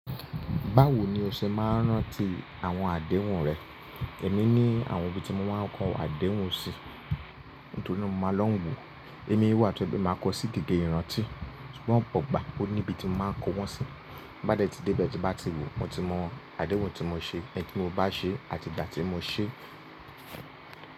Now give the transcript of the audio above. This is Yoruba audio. Báwo ni o ṣe máa ń rántí àwọn àdéhùn rẹ? Èmi ní àwọn ibi tí mo máa ń kọ àdéhùn sí, nítorí náà mo máa lọ́n wo. Oni iwá tó bí mo máa kọ sí gígé ìrántí, ṣùgbọ́n òpo igbà, ó ní ibi tí mo máa ń kó wọ́n sí. Tin bá dẹ́ tí díbẹ̀ tí n bá ti wù, mo ti mọ àdéhùn tí mo ṣe, ẹ̀ntí mo bá ṣe àti ìgbà tí mo ṣe.